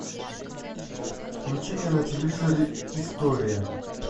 включи мне на телевизоре история